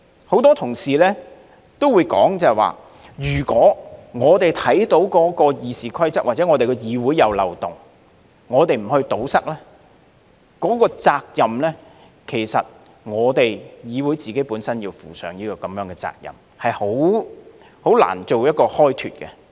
很多同事也會說，如果我們看到《議事規則》或議會內有漏洞而不加以堵塞，其實議會要負上責任，是很難開脫的。